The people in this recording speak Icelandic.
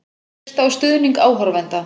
Treysta á stuðning áhorfenda